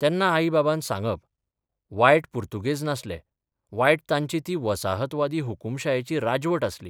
तेन्ना आई बाबान सांगप वायट पुर्तुगेज नासले वायट तांची ती वसाहतवादी हुकूमशायेची राजवट आसली.